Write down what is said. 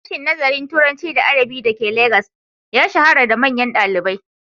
Sashen Nazarin Turanci da Adabi da ke Legas ya shahara da manyan malamai.